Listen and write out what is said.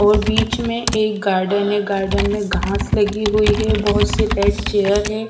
और बीच में एक गार्डन हैं गार्डन में घास लगी हुई है बहोत सी रेड चेयर है।